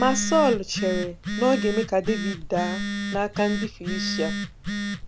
Ma Sọl chere na ọ ga-eme ka Devid daa n’aka ndị Filistia.